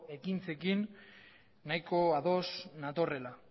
ekintzekin nahiko ados natorrela